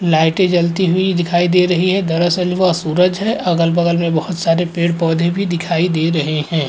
लाइटें जलती हुई दिखाई दे रही हैं दरअसल वह सूरज है अगल-बगल में बहौत सारे पेड़-पौदे भी दिखाई दे रहे हैं।